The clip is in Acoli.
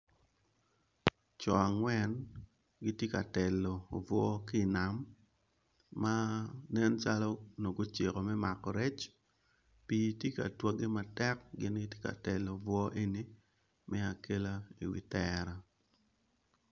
Co angwen gitye ka telo obwor ki nam ma nen calo onongo guciko me mako rec pi tye ka twage matek gin gitye ka telo obwor eni me akela i wi tela.